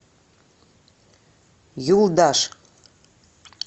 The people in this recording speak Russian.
юлдаш